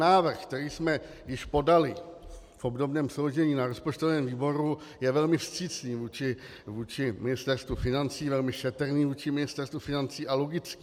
Návrh, který jsme již podali v obdobném složení na rozpočtovém výboru, je velmi vstřícný vůči Ministerstvu financí, velmi šetrný vůči Ministerstvu financí a logický.